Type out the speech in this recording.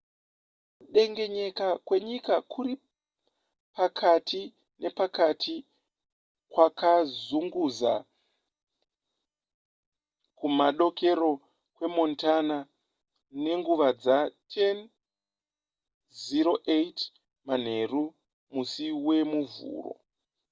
kudengenyeka kwenyika kuri pakati nepakati kwakazunguza kumadokero kwemontana nenguva dza10:08 manheru musi wemuvhuro